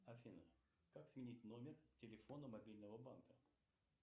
афина как сменить номер телефона мобильного банка